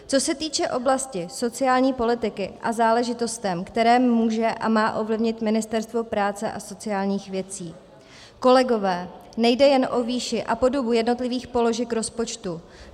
Co se týče oblasti sociální politiky a záležitostí, které může a má ovlivnit Ministerstvo práce a sociálních věcí, kolegové, nejde jen o výši a podobu jednotlivých položek rozpočtu.